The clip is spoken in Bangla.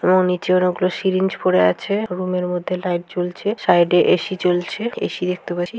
এবং নিচে অনেকগুলো সিরিঞ্জ পড়ে আছে। রুমের মধ্যে লাইট জ্বলছে সাইডে এ.সি. চলছে। এ.সি. দেখতে পাছি ।